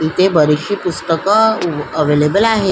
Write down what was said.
इथे बरिचशी पुस्तक अ अवेलेबल आहे.